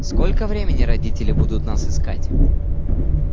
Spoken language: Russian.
сколько времени родители будут нас искать